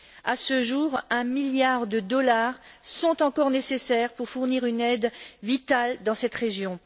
À ce jour, un milliard de dollars sont encore nécessaires pour fournir une aide vitale à cette région.